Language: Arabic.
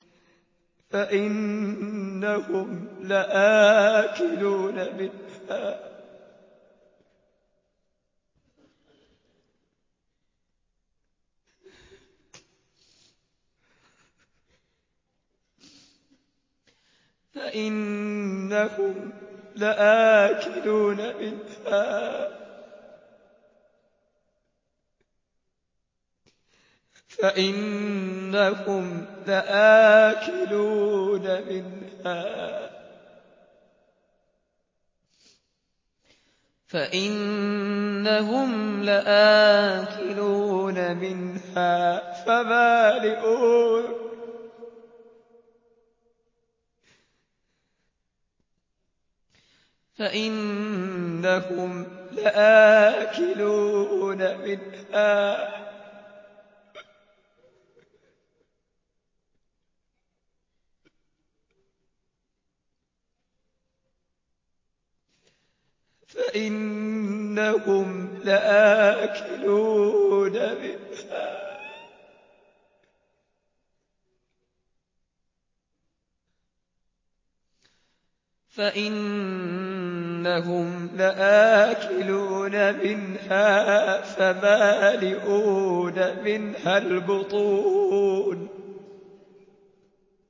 فَإِنَّهُمْ لَآكِلُونَ مِنْهَا فَمَالِئُونَ مِنْهَا الْبُطُونَ